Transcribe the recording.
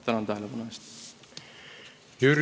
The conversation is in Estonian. Tänan tähelepanu eest!